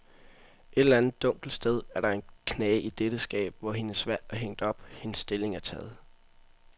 Et eller andet dunkelt sted er der en knage i dette skab, hvor hendes valg er hængt op, hendes stilling er taget.